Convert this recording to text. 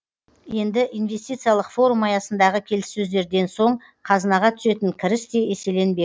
енді инвестициялық форум аясындағы келіссөздерден соң қазынаға түсетін кіріс те еселенбек